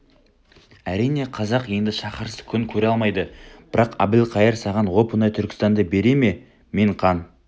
әрине қазақ енді шаһарсыз күн көре алмайды бірақ әбілқайыр саған оп-оңай түркістанды бере ме мен қан